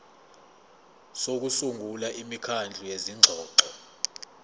sokusungula imikhandlu yezingxoxo